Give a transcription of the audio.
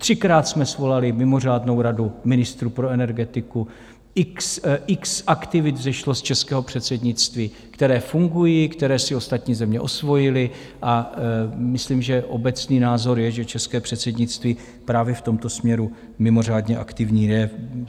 Třikrát jsme svolali mimořádnou radu ministrů pro energetiku, x aktivit vzešlo z českého předsednictví, které fungují, které si ostatní země osvojily, a myslím, že obecný názor je, že české předsednictví právě v tomto směru mimořádně aktivní je.